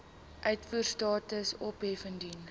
uitvoerstatus ophef indien